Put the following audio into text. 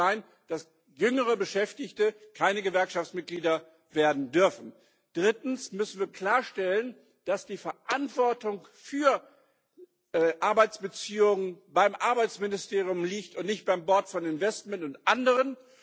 Es kann nicht sein, dass jüngere Beschäftigte keine Gewerkschaftsmitglieder werden dürfen. Drittens müssen wir klarstellen, dass die Verantwortung für Arbeitsbeziehungen beim Arbeitsministerium liegt und nicht beim Board of Investment und anderen.